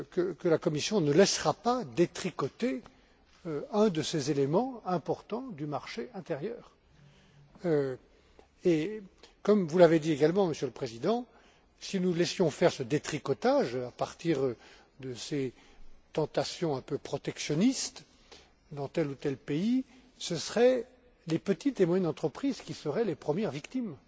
que la Commission ne laissera pas détricoter un de ces éléments importants du marché intérieur. Et, comme vous l'avez dit également, Monsieur le Président, si nous laissions faire ce détricotage à partir de ces tentations un peu protectionnistes dans tel ou tel pays, ce seraient les petites et moyennes entreprises qui seraient les premières victimes.